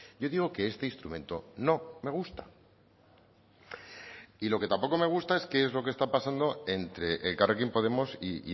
yo digo que este instrumento no me gusta y lo que tampoco me gusta es qué es lo que está pasando entre elkarrekin podemos y